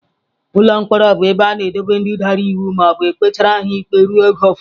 Ụlọ mkpọrọ bụ ebe a na-edobe ndị dara iwu ma e kpechara ha ikpe ruo oge ụfọdụ